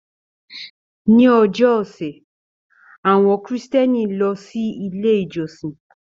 Ni ọjọ́ ọṣẹ, awọn Kristiani lọ si ile ijọsin